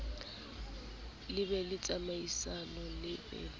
be le tsamaisano le bili